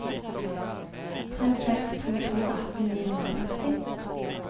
tre seks to to atten ni hundre og femti